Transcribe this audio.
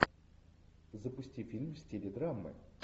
запусти фильм в стиле драмы